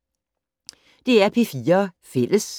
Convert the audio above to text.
DR P4 Fælles